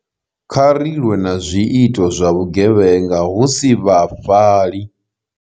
Kha ri lwe na zwiito zwa vhugevhenga, hu si vhafhali.